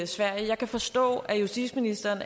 sverige jeg kan forstå at justitsministeren